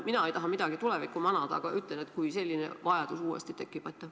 Mina ei taha tulevikku manada, aga kujutame ette, et selline vajadus peaks uuesti tekkima.